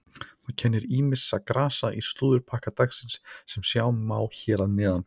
Það kennir ýmissa grasa í slúðurpakka dagsins sem sjá má hér að neðan.